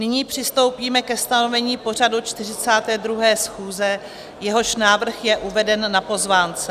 Nyní přistoupíme ke stanovení pořadu 42. schůze, jehož návrh je uveden na pozvánce.